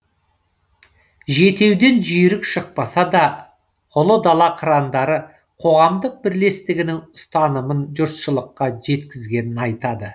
жетеуден жүйрік шықпаса да ұлы дала қырандары қоғамдық бірлестігінің ұстанымын жұртшылыққа жеткізгенін айтады